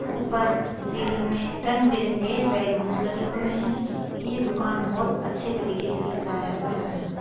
ऊपर सीलिंग मे रंग-बिरंगे बैलून्स लगे हुए है ये दुकान बहोत अच्छे तरीके से सजाया गया है।